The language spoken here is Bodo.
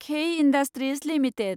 खेइ इण्डाष्ट्रिज लिमिटेड